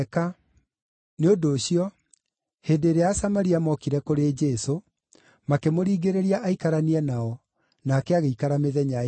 Nĩ ũndũ ũcio, hĩndĩ ĩrĩa Asamaria mokire kũrĩ Jesũ, makĩmũringĩrĩria aikaranie nao, nake agĩikara mĩthenya ĩĩrĩ.